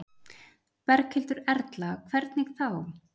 Berghildur Erla: Hvernig þá?